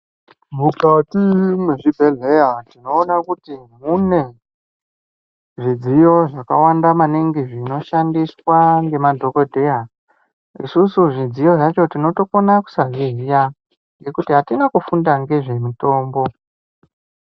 Mukati mwezvibhedhleya tinoona kuti mune zvidziyo zvakawanda maningi zvinoshandiswa nemadhokodheya isusu zvidziyo zvakhona tinokona kusazviziva nekuti atina kufunda nezvemitombo.